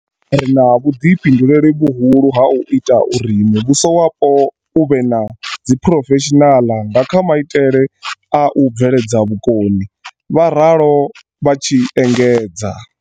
Ri na vhuḓifhinduleli vhu hulu ha u ita uri muvhu so wapo u vhe na dzi phurofeshinaḽa nga kha maitele a u bveledza vhukoni, vha ralo vha tshi engedza.